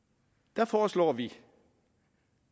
der foreslår vi